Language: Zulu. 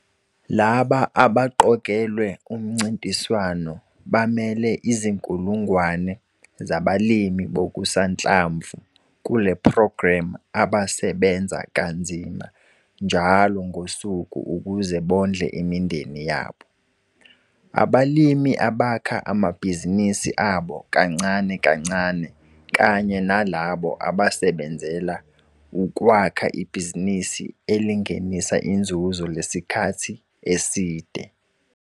Laba abaqokelwe umncintiswano bamele izinkulungwane zabalimi bokusanhlamvu kule programme abasebenza kanzima njalo ngosuku ukuze bondle imindeni yabo, abalimi abakha amabhizinisi abo kancane kancane kanye nalabo abasebenzela ukwakha ibhizinisi elingenisa inzuzo lesikhathi eside.